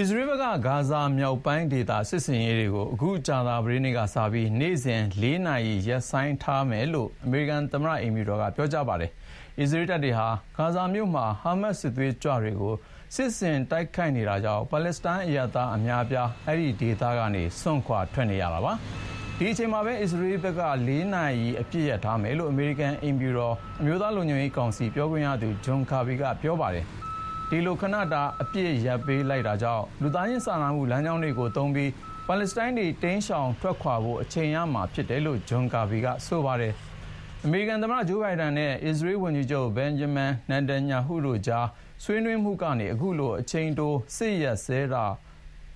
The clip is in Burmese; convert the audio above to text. အစ္စရေးဘက်က ဂါဇာမြောက်ပိုင်းဒေသ စစ်ဆင်ရေးတွေကို အခုကြာသပတေးနေ့ကစပြီး နေ့စဉ် လေးနာရီကြာ ရပ်ဆိုင်းထားပေးမယ်လို့ အမေရိကန်သမ္မတအိမ်ဖြူတော်က ပြောပါတယ်။ အစ္စရေးတပ်တွေဟာ ဂါဇာမြို့မှာ ဟားမတ်စစ်သွေးကြွတွေကို စစ်ဆင်တိုက်ခိုက်နေတာကြောင့် ပါလက်စတိုင်းအရပ်သားအများအပြား အဲဒီဒေသကနေ စွန့်ခွာနေကြရတာပါ။ ဒီအချိန်မှာပဲ အစ္စရေးဘက်က တနေ့လေးနာရီ အပစ်ရပ်ထားမယ်လို့ အမေရိကန် အိမ်ဖြူတော် အမျိုးသားလုံခြုံရေးကောင်စီ ပြောခွင့်ရသူ John Kirby က ပြောဆိုလိုက်တာပါ။ ဒီလို ခဏတာ အပစ်ရပ်ပေးလိုက်တာကြောင့် လူသားစာနာမှုလမ်းကြောင်းတွေကို သုံးပြီး ပါလက်စတိုင်းတွေ ရှောင်တိမ်းထွက်ခွာဖို့ အချိန်ရမှာဖြစ်တယ်လို့လည်း John Kirby က ပြောပါတယ်။ အမေရိကန်သမ္မတ Joe Biden နဲ့ အစ္စရေးဝန်ကြီးချုပ် Benjamin Netanyhahu တို့ကြား ဆွေးနွေးမှုကနေ အခုလို အချိန်တိုစစ်ရပ်စဲထားဖို့